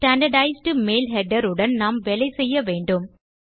standardised mail header உடன் நாம் வேலை செய்ய வேண்டும்